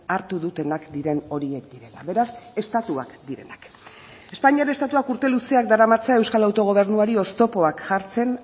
hartu dutenak diren horiek direla beraz estatuak direnak espainiar estatuak urte luzeak daramatza euskal autogobernuari oztopoak jartzen